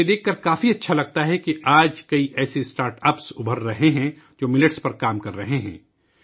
مجھے یہ دیکھ کر اچھا لگا کہ آج بہت سے ایسے اسٹارٹ اپس ابھر رہے ہیں، جو ملٹس پر کام کر رہے ہیں